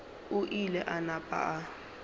o ile a napa a